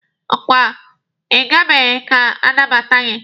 Ọ kwa Ị gabeghi ka a nabata gị?